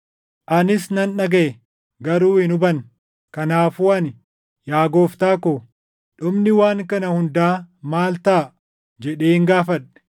Anis nan dhagaʼe; garuu hin hubanne. Kanaafuu ani, “Yaa gooftaa ko, dhumni waan kana hundaa maal taʼa?” jedheen gaafadhe.